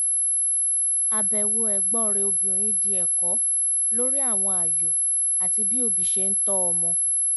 àbẹ̀wò ẹ̀gbọ́n rẹ̀ obìnrin di ẹ̀kọ́ lórí àwọn ààyò àti bí òbí ṣe ń tọ́ ọmọ